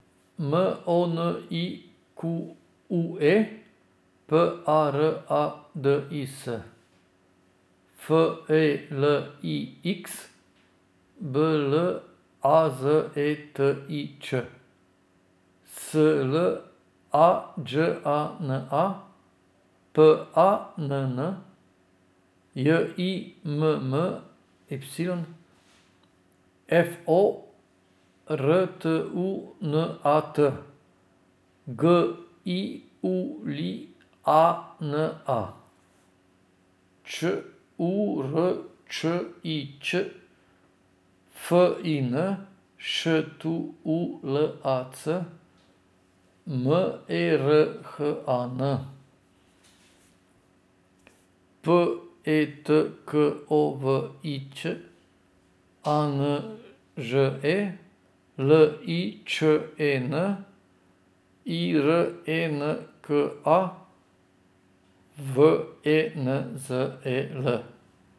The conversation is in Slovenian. M O N I Q U E, P A R A D I S; F E L I X, B L A Z E T I Č; S L A Đ A N A, P A N N; J I M M Y, F O R T U N A T; G I U L I A N A, Ć U R Č I Ć; F I N, Š T U L A C; M E R H A N, P E T K O V I Ć; A N Ž E, L I Č E N; I R E N K A, W E N Z E L.